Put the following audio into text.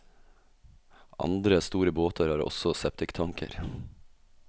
Andre store båter har også septiktanker.